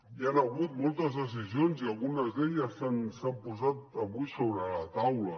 hi han hagut moltes decisions i algunes d’elles s’han posat avui sobre la taula